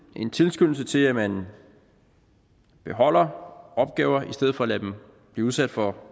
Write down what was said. en tilskyndelse til at man beholder opgaver i stedet for at lade dem blive udsat for